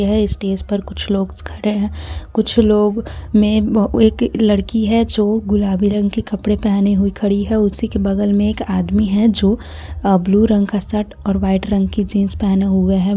ये स्टेज पर कुछ लोग खड़े हैं कुछ लोग में एक लड़की है जो गुलाबी रंग के कपड़े पहने हुए खड़ी है उसी के बगल में एक आदमी है जो अह ब्लू रंग का शर्ट और वाइट रंग की जींस पहने हुए है।